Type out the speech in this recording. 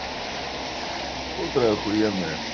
пудра ахуенная